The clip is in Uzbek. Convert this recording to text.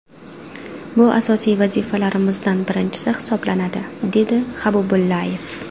Bu asosiy vazifalarimizdan birinchisi hisoblanadi”, dedi Habibullayev.